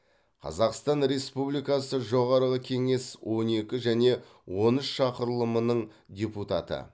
қазақстан республикасы жоғарғы кеңес он екі және он үш шақырылымының депутаты